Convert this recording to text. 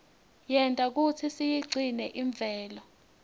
yenta kutsi siyigcine imvelo